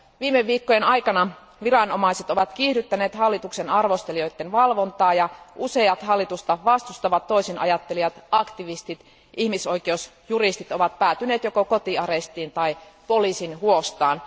Viime viikkojen aikana viranomaiset ovat kiihdyttäneet hallituksen arvostelijoiden valvontaa ja useat hallitusta vastustavat toisinajattelijat, aktivistit ja ihmisoikeusjuristit ovat päätyneet joko kotiarestiin tai poliisin huostaan.